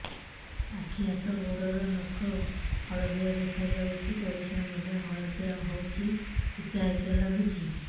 ଆଖି ହାତ ଗୋଡ଼ର ନଖ ହଳଦିଆ ଦେଖା ଯାଉଛି ପରିସ୍ରା ମଧ୍ୟ ହଳଦିଆ ହଉଛି ହିକା ହିକା ଲାଗୁଛି